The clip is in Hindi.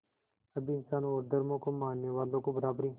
सभी इंसानों और धर्मों को मानने वालों को बराबरी